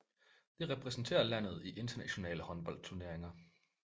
Det repræsenterer landet i internationale håndboldturneringer